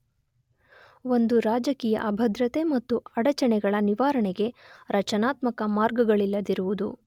ಒಂದು ರಾಜಕೀಯ ಅಭದ್ರತೆ ಮತ್ತು ಅಡಚಣೆಗಳ ನಿವಾರಣೆಗೆ ರಚನಾತ್ಮಕ ಮಾರ್ಗಗಳಿಲ್ಲದಿರುವುದು.